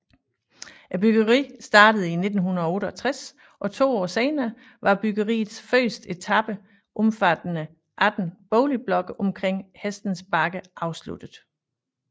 Byggeriet startede i 1968 og to år senere var byggeriets første etape omfattende 18 boligblokke omkring Hestens Bakke afsluttet